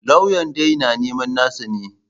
Lauyan dai na neman nasa ne.